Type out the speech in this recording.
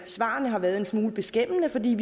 svarene har været en smule beskæmmende for vi